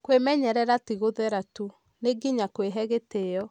Kwĩmenyerera ti gũthera tu, nĩ nginya kwĩhe gĩtĩo.